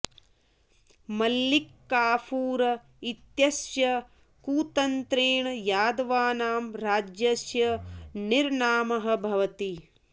मल्लिक् काफूर् इत्यस्य कुतन्त्रेण यादवानां राज्यस्य निर्नामः भवति